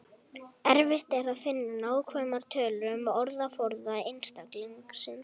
Erfitt er að finna nákvæmar tölur um orðaforða einstaklingsins.